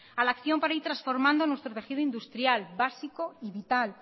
a la acción para ir transformando nuestro tejido industrial básico y vital